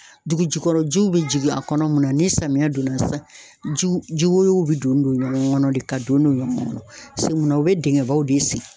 Dugu jukɔrɔ jiw bɛ jigin a kɔnɔ mun na, ni samiya donna sisan ji ji woyo bɛ don don ɲɔgɔn kɔnɔ de ka don don ɲɔgɔn kɔnɔ paseke mun na o bɛ dingɛbaw de sen